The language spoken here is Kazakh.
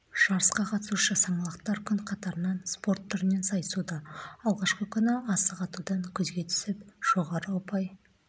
жарысқа қатысушы саңлақтар күн қатарынан спорт түрінен сайысуда алғашқы күні асық атудан көзге түсіп жоғары ұпай